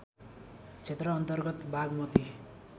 क्षेत्र अन्तर्गत बागमती